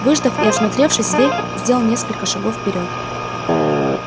выждав и осмотревшись зверь сделал несколько шагов вперёд